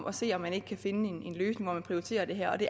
at se om man ikke kan finde en løsning hvor man prioriterer det her det